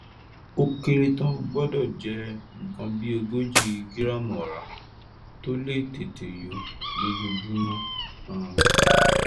ó kéré tán o gbọ́dọ̀ jẹ nǹkan bí ogójì gíráàmù ọ̀rá tó lè tètè yó lójoojúmọ́ um